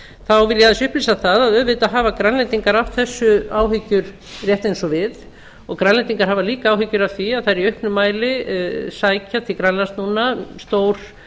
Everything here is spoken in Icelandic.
þá vil ég aðeins upplýsa það að auðvitað hafa grænlendingar af þessu áhyggjur rétt eins og við og grænlendingar hafa líkja áhyggjur af því að það eru í auknum mæli að sækja til grænlands núna stór